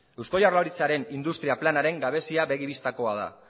eusko jaurlaritzaren industria planaren gabezia begi bistakoa da